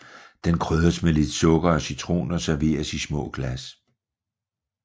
Den krydres med lidt sukker og citron og serveres i små glas